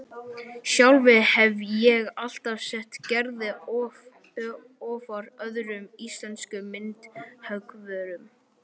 Sjálf hefi ég alltaf sett Gerði ofar öðrum íslenskum myndhöggvurum